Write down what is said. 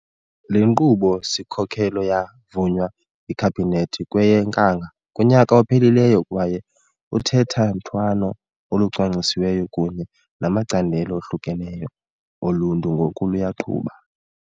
Le Nkqubo-sikhokelo ya vunywa yiKhabhinethi kweyeNkanga kunyaka ophelileyo kwaye uthethathethwano olucwangcisiweyo kunye namacandelo ohlukeneyo oluntu ngoku luyaqhuba.